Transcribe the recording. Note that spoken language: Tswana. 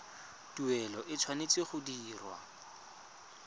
tuelo e tshwanetse go dirwa